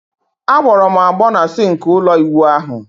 A gboro m agbo na sinki ulo iwu ahu